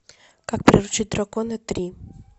как приручить дракона три